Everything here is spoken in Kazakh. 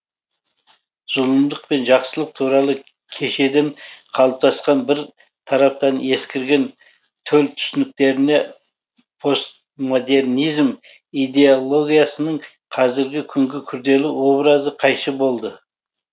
зұлымдық пен жақсылық туралы кешеден қалыптасқан бір тараптан ескірген төл түсініктеріне постмодернизм идеологиясының қазіргі күнгі күрделі образы қайшы болды